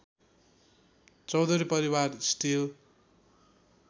चौधरी परिवार स्टिल